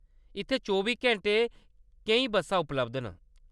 इत्थै चौबी घैंटे केईं बस्सां उपलब्ध न।